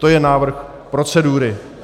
To je návrh procedury.